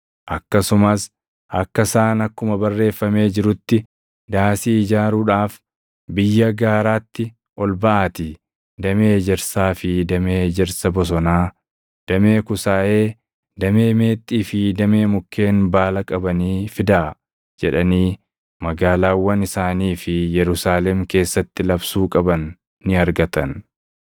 akkasumas akka isaan akkuma barreeffamee jirutti, “Daasii ijaaruudhaaf biyya gaaraatti ol baʼaatii damee ejersaa fi damee ejersa bosonaa, damee kusaayee, damee meexxii fi damee mukkeen baala qabanii fidaa” jedhanii magaalaawwan isaanii fi Yerusaalem keessatti labsuu qaban ni argatan.